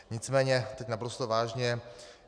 Nicméně teď naprosto vážně.